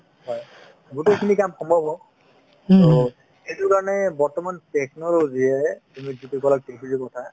হয় গোটেইখিনি ing কাম সম্ভৱ হ'ব to সেইটোৰ কাৰণে বৰ্তমান technology য়ে তুমি যিটো ক'লা TV ৰ কথা